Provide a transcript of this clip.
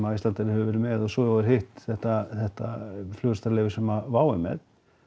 Icelandair hefur verið með og svo er hitt þetta þetta leyfi sem Wow er með